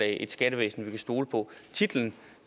et skattevæsen vi kan stole på titlen